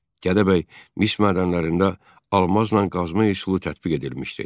Gədəbəy mis mədənlərində almazla qazma üsulu tətbiq edilmişdi.